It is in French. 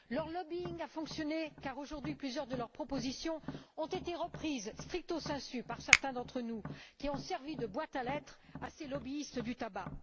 Leur lobbying a fonctionné car aujourd'hui, plusieurs de leurs propositions ont été reprises stricto sensu par certains d'entre nous, qui ont servi de boîtes à lettres à ces lobbyistes du tabac.